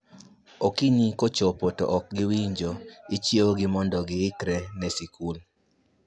Okinyi kochopo to ok giwinjo, ichiew gi mondo gi ikre ne skul